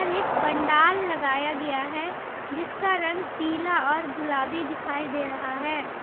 एक पंडाल लगाया गया है जिसका रंग पीला और गुलाबी दिखाई दे रहा है।